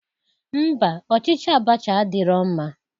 Ḿbà, ọchịchị abacha adirọ mma.